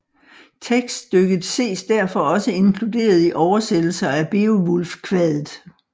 Tekststykket ses derfor også inkluderet i oversættelser af Beovulfkvadet